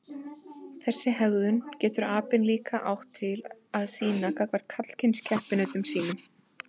Þessa hegðun getur apinn líka átt til að sýna gagnvart karlkyns keppinautum sínum.